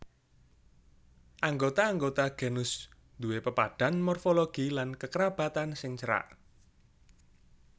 Anggota anggota genus duwé pepadhan morfologi lan kekerabatan sing cerak